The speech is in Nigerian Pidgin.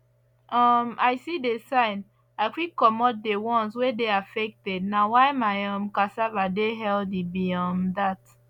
as i see the sign i quick comot the ones wey dey affected na why my um cassava dey healthy be um dat